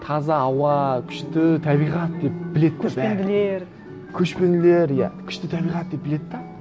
таза ауа күшті табиғат деп біледі де бәрі көшпенділер көшпенділер иә күшті табиғат деп біледі де